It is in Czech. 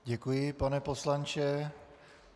Děkuji, pane poslanče.